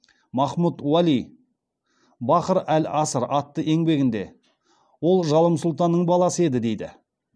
махмуд уәли бахр ал аср атты еңбегінде ол жалым сұлтанның баласы еді дейді